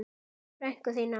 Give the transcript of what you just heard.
Frænku þína?